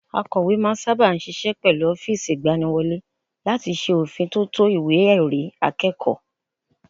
Akọ̀we máa ń sáábà ṣiṣẹ́ pẹ̀lú ọ́fíìsì ìgbaniwọlé láti ṣe òfin tótó ìwé ẹ̀rí akẹ́kọ̀ọ́